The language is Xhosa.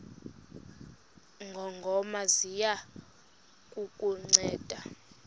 ngongoma ziya kukunceda